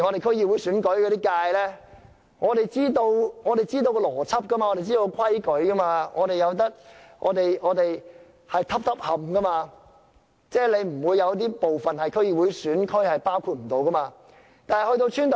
區議會選舉的劃界我們固然知道其邏輯，知道當中的準則，選區是一個接一個的，即不會有一些部分是區議會選區沒有包括的。